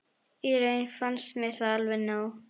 Í raun fannst mér það alveg nóg